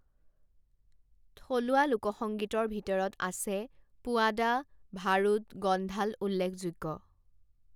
থলুৱা লোকসংগীতৰ ভিতৰত আছে পোৱাদা, ভাৰুদ, গ'ন্ধাল উল্লেখযোগ্য।